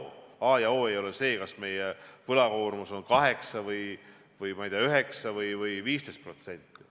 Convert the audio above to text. A ja o ei ole see, kas meie võlakoormus on 8% või 9% või 15%.